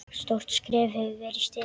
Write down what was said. Stórt skref hefur verið stigið.